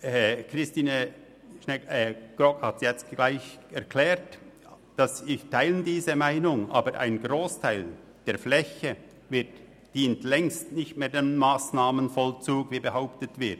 Ich teile die Meinung von Grossrätin Grogg, welche sie soeben erklärt hat, aber ein Grossteil der Fläche dient längst nicht mehr dem Massnahmenvollzug, wie behauptet wird.